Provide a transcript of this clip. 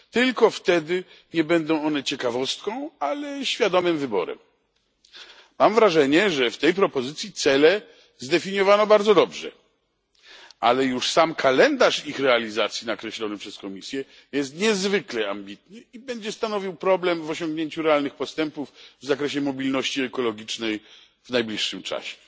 Tylko wtedy nie będą one ciekawostką, ale świadomym wyborem. Mam wrażenie, że w tej propozycji cele zdefiniowano bardzo dobrze, ale już sam kalendarz ich realizacji nakreślony przez Komisję jest niezwykle ambitny i będzie stanowił problem w osiągnięciu realnych postępów w zakresie mobilności ekologicznej w najbliższym czasie.